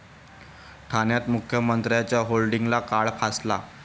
ठाण्यात मुख्यमंत्र्यांच्या होर्डिंगला काळं फासलं